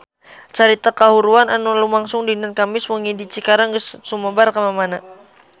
Carita kahuruan anu lumangsung dinten Kemis wengi di Cikarang geus sumebar kamana-mana